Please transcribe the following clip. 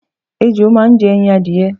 Ejò máa ń je̩ e̩yin adìye̩.